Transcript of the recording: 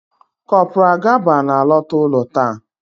Kopral Gaba na-alọta ụlọ taa